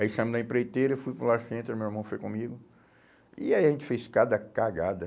Aí saímos da empreiteira, fui para o Lar Center, meu irmão foi comigo, e aí a gente fez cada cagada.